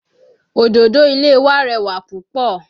Òdòdó ilé wa rẹwà púpọ̀